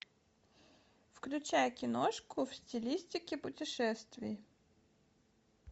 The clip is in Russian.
включай киношку в стилистике путешествий